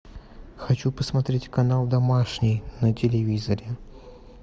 хочу посмотреть канал домашний на телевизоре